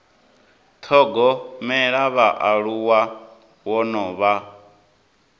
thogomela vhaaluwa wo no vha